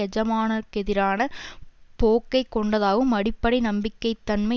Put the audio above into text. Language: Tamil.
எஜமானருக்கெதிரான போக்கை கொண்டதாகவும் அடிப்படை நம்பிக்கை தன்மை